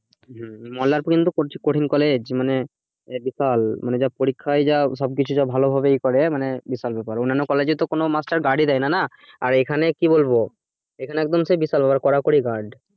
হম মল্লারপুরে যা কঠিন college মানে বিশাল যা পরীক্ষা হয়ে যায় সবকিছু যা ভালোভাবে করে মানে বিশাল বিশাল অন্যান্য college এ তো কোনো master guard ই দেয়না না আর এখানে কি বলবো বিশাল কড়াকড়ি guard